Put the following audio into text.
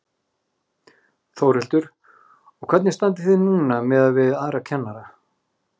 Þórhildur: Og hvernig standið þið núna miðað við aðra kennara?